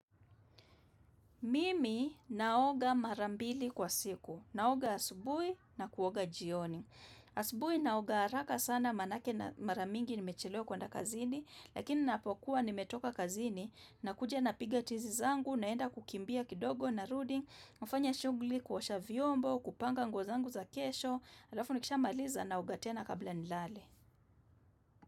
Mimi naoga marambili kwa siku. Naoga asubui na kuoga jioni. Asubui naoga haraka sana manake maramingi nimechelewa kwa nda kazini, lakini napokua nimetoka kazini, nakuja na piga tizi zangu, naenda kukimbia kidogo na rudi, nufanya shugli kuosha vyombo, kupanga nguozangu za kesho, alafu nikisha maliza naogatena kabla nilale.